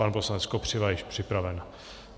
Pan poslanec Kopřiva je již připraven.